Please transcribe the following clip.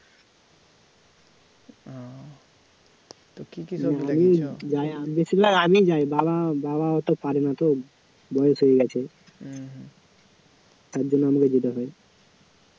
আমিই যাই বাবা বাবা অত পারে না তো বয়স হয়ে গেছে তারজন্য আমাকে যেতে হয়